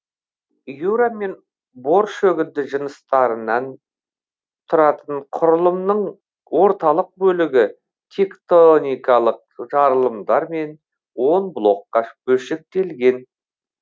юра мен бор шөгінді жыныстарынан тұратын құрылымның орталық бөлігі тектоникалық жарылымдармен он блокқа бөлшектелген